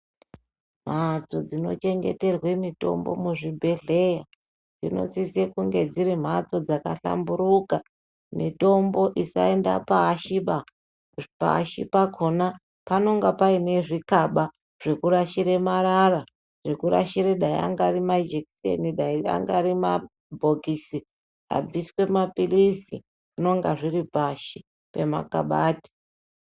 Mhatso dzinochengeterwe mitombo muzvibhedheya dzinosise kunge dziri mhatso dzakahlamburika, mitombo isainda pashi ba. Pashi pakona panenge paine zvikaba zvokurashire marara, zokurashire angari majekiseni, angari mabhokisi abviswe mapilizi zvinenge zviri pashi pemakabati.